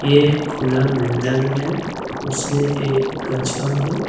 एक खुला मैदान है उसमें एक कछुआ है।